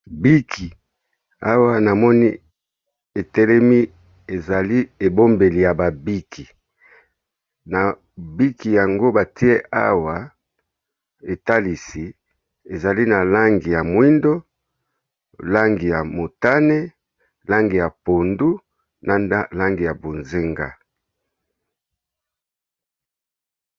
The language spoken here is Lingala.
Biki awa na moni etelemi ezali ebombeli ya ba biki, na biki yango batie awa etalisi ezali na langi ya mwindo, langi ya motane, langi ya pondu, na langi ya bonzenga.